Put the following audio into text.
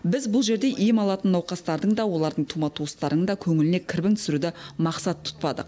біз бұл жерде ем алатын науқастардың да олардың тума туыстарының да көңіліне кірбің түсіруді мақсат тұтпадық